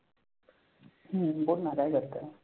हम्म बोल ना काय करतेय?